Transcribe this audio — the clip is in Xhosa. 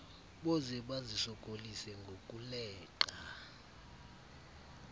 boze bazisokolise ngokuleqa